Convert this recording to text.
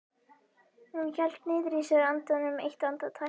Hún hélt niðri í sér andanum eitt andartak.